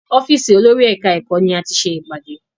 Ọ́fìsì olórí ẹ̀ka ẹ̀kọ́ ni a ti ṣe ìpàdé.